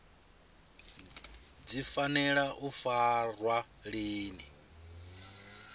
dzi fanela u farwa lini